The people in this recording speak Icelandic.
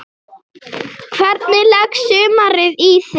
Hvernig leggst sumarið í þig?